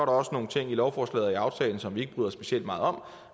også nogle ting i lovforslaget og i aftalen som vi ikke bryder os specielt meget om